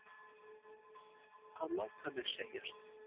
Að láta mér segjast?